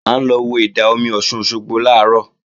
À ń lọ wo ìdá-omi Ọ̀ṣun Òṣogbo làárọ̀